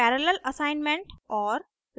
parallel assignment और